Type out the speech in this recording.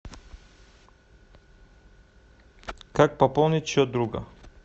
как пополнить счет друга